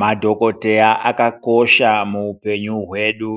Madhokodheya akakosha muupenyu hwedu,